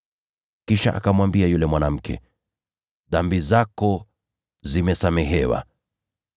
Kisha akamwambia yule mwanamke, “Dhambi zako zimesamehewa.”